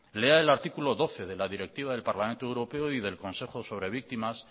lea el artículo doce de la directiva del parlamento europeo y del consejo sobre víctimas